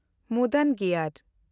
ᱢᱩᱫᱚᱱᱜᱤᱭᱟᱨ